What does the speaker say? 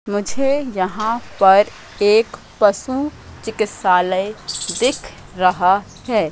मुझे यहां पर एक पशु चिकित्सालय दिख रहा है।